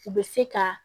U bɛ se ka